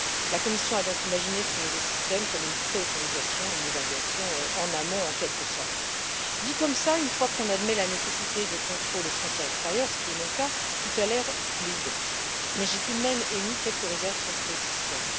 La Commission a donc imaginé ce nouveau système comme une pré autorisation, une évaluation en amont, en quelque sorte. Dit comme cela, une fois qu'on admet la nécessité de contrôles aux frontières extérieures, ce qui est mon cas, tout a l'air fluide, mais j'ai tout de même émis quelques réserves sur ce système.